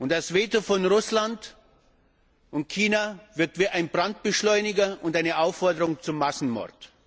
Das Veto von Russland und China wirkt wie ein Brandbeschleuniger und eine Aufforderung zum Massenmord.